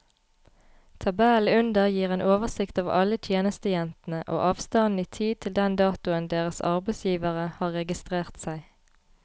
Tabellen under gir en oversikt over alle tjenestejentene og avstanden i tid til den datoen deres arbeidsgivere har registrert seg.